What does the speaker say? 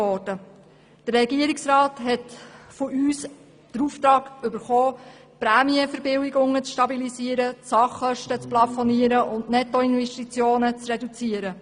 Der Regierungsrat hat von uns den Auftrag erhalten, die Prämienverbilligungen zu stabilisieren, die Sachkosten zu plafonieren und die Nettoinvestitionen zu reduzieren.